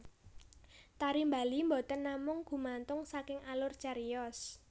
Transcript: Tari Bali boten namung gumantung saking alur cariyos